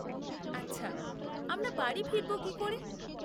আচ্ছা, আমরা বাড়ি ফিরব কী করে?